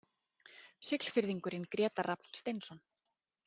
Siglfirðingurinn Grétar Rafn Steinsson